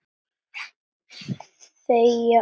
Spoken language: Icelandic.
Þegja og hlýða.